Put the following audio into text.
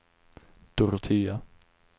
Dorotea